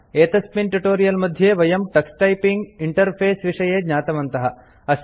एतस्मिन् ट्यूटोरियल मध्ये वयं टक्स टाइपिंग इंटरफेस विषये ज्ञातवन्तः